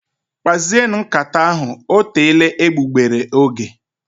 Kpazienu nkata ahụ, ọ teela egbugbere ógè